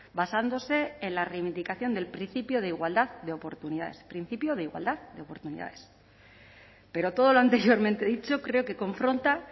basándose en la reivindicación del principio de igualdad de oportunidades principio de igualdad de oportunidades pero todo lo anteriormente dicho creo que confronta